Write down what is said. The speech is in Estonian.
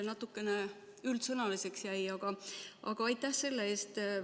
Natukene üldsõnaliseks jäi vastus, aga aitäh selle eest.